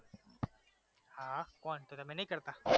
હા કેમ તમે નઈ કરતા?